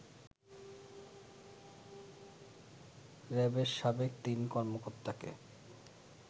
র‌্যাবের সাবেক তিন কর্মকর্তাকে